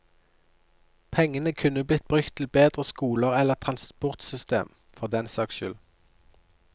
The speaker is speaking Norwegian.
Pengene kunne blitt brukt til bedre skoler eller transportsystem, for den saks skyld.